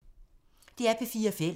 DR P4 Fælles